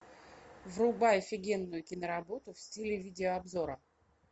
врубай офигенную киноработу в стиле видеообзора